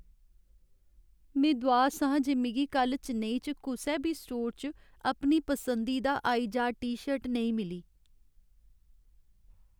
में दुआस आं जे मिगी कल्ल चेन्नई च कुसै बी स्टोर च अपनी पसंदीदा आईजाड टी शर्ट नेईं मिली।